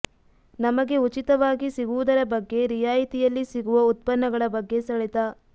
ನಮಗೆ ಉಚಿತವಾಗಿ ಸಿಗುವುದರ ಬಗ್ಗೆ ರಿಯಾಯಿತಿಯಲ್ಲಿ ಸಿಗುವ ಉತ್ಪನ್ನಗಳ ಬಗ್ಗೆ ಸೆಳೆತ